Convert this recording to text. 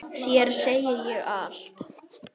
Þér segi ég allt.